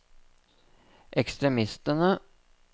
ekstremistene